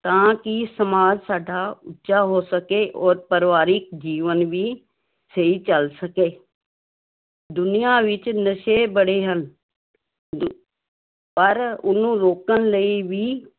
ਤਾਂ ਕਿ ਸਮਾਜ ਸਾਡਾ ਉੱਚਾ ਹੋ ਸਕੇ ਔਰ ਪਰਿਵਾਰਕ ਜੀਵਨ ਵੀ ਸਹੀ ਚੱਲ ਸਕੇ ਦੁਨੀਆਂ ਵਿੱਚ ਨਸ਼ੇ ਬੜੇ ਹਨ ਪਰ ਉਹਨੂੰ ਰੋਕਣ ਲਈ ਵੀ